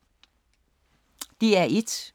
DR1